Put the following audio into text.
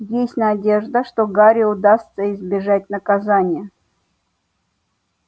есть надежда что гарри удастся избежать наказания